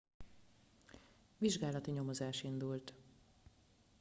vizsgálati nyomozás indult